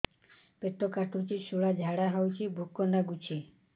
ପେଟ କାଟିକି ଶୂଳା ଝାଡ଼ା ହଉଚି ଭୁକ ଲାଗୁନି